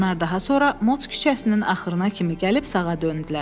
Onlar daha sonra Mots küçəsinin axırına kimi gəlib sağa döndülər.